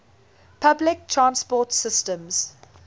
public transport systems